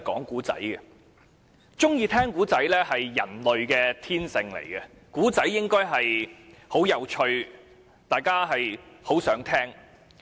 喜歡聽故事是人類的天性，而故事應是有趣的，是大家想聽的。